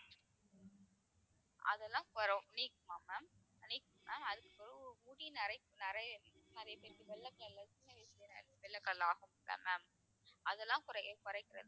நீக்குமாம் ma'am நீக்கும் ma'am அதுக்குப்பிறகு முடி நரைப்பு நிறைய நிறைய பேருக்கு வெள்ளை color ல சின்ன வயசுலயே வெள்ளை color ல ஆகுமில்ல ma'am அதெல்லாம் குறைய குறைக்கிறதுக்கு